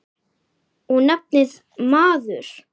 Og nafnið, maður.